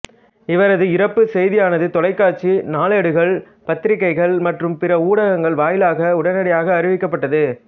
இவரது இறப்புச் செய்தியானது தொலைக்காட்சி நாளேடுகள் பத்திரிக்கைகள் மற்றும் பிற ஊடகங்கள் வாயிலாக உடனடியாக அறிவிக்கப்பட்டது